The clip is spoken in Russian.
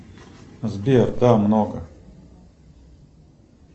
сбер да много